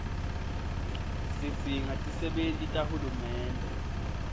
sidzinga tisebenti tahulumende